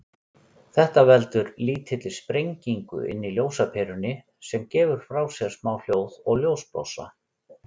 Þetta veldur lítilli sprengingu inni í ljósaperunni, sem gefur frá sér smá hljóð og ljósblossa.